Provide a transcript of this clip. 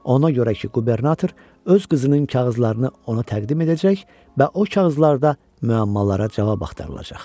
Ona görə ki, qubernator öz qızının kağızlarını ona təqdim edəcək və o kağızlarda müəmmalara cavab axtarılacaq.